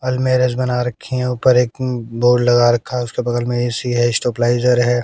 अलमेरिज बना रखी है ऊपर एक बोर्ड लगा रखा है उसके बगल में ऐ_सी है स्टेबलाइजर है।